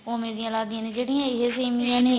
ਉਵੇ ਦੀ ਲੱਗਦੀਆਂ ਨੇ ਜਿਹੜੀਆਂ ਇਹ ਸੇਮੀਆਂ ਨੇ